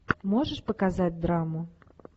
можешь показать драму